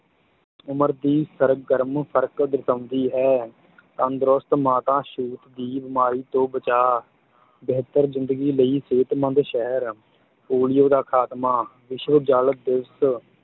ਉਮਰ ਦੀ ਸਰਗਰਮ ਫਰਕ ਦਰਸਾਉਂਦੀ ਹੈ ਤੰਦਰੁਸਤ ਮਾਤਾ ਛੂਤ ਦੀ ਬੀਮਾਰੀ ਤੋਂ ਬਚਾ, ਬਿਹਤਰ ਜ਼ਿੰਦਗੀ ਲਈ ਸਿਹਤਮੰਦ ਸ਼ਹਿਰ, ਪੋਲੀਓ ਦਾ ਖਾਤਮਾ, ਵਿਸ਼ਵ ਜਲ ਦਿਵਸ਼